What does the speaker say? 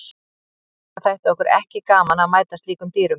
Líklega þætti okkur ekki gaman að mæta slíkum dýrum.